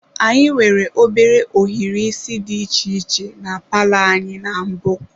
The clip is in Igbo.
Anyị nwere obere ohiri isi dị iche iche na palọ anyị na mbụ.